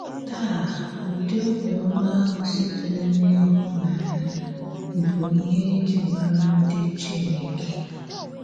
Tàà, ǔdị̀ òbíọ́má ahụ sị̀tèrè n’íhụ̀nànyà bụ̀ íhè e jí màrà ǹdí Chínèkè.